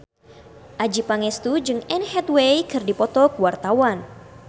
Adjie Pangestu jeung Anne Hathaway keur dipoto ku wartawan